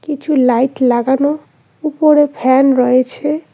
কিছু লাইট লাগানো উপরে ফ্যান রয়েছে।